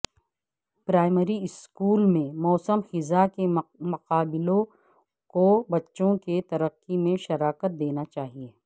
primary school میں موسم خزاں کے مقابلوں کو بچوں کی ترقی میں شراکت دینا چاہئے